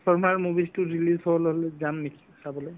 transformers movies তো release হোৱাৰ লগে লগে যাম নেকি চাবলৈ